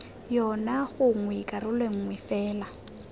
yona gongwe karolo nngwe fela